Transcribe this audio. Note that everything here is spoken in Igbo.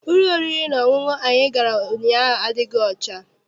Ụlọ oriri na ọṅụṅụ anyị gara ụnyaahụ adịghị ọcha.